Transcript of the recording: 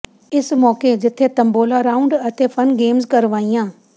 ਇਸ ਮੌਕੇ ਜਿੱਥੇ ਤੰਬੋਲਾ ਰਾਊਂਡ ਅਤੇ ਫਨ ਗੇਮਜ਼ ਕਰਵਾਈਆਂ